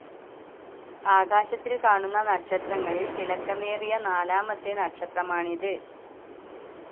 ആകാശത്തിൽ കാണുന്ന നക്ഷത്രങ്ങളിൽ തിളക്കമേറിയ നാലാമത്തെ നക്ഷത്രമാണിത്.